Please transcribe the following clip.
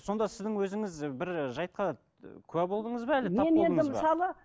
сонда сіздің өзіңіз бір жайтқа куә болдыңыз ба әлде тап болдыңыз ба